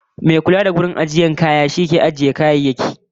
Mai kula da siton ajiyar kaya shi ke ajiye kayayyaki ko fitar da su bisa ka'ida